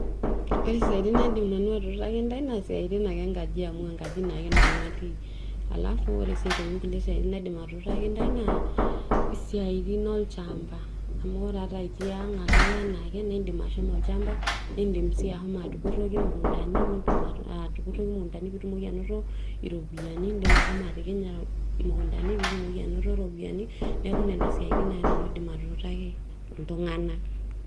Ore siatin naidim nanu atuutaki ntae na siatin onkajijik amu enkaji ake nanu atii alalfu siatin ongulie siatin naidim atuutaki naa siatin olchamba amu ore itii ang akeyie anaake nindim ashomo olchamba, niindim sii ashomo atupuroki mukundani ,aa nindim atupuraki mukundani peindim ainoto ropiyani, indim ashomo atikinya mukundani peitumoki ainoto ropiyani, neaku nona siaitin ake nanu aidim atuutaki ltunganak.